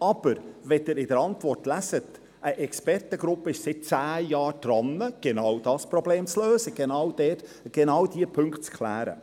Aber in der Antwort lesen wir, dass eine Expertengruppe seit zehn Jahren daran ist, genau dieses Problem zu lösen, genau diese Punkte zu klären.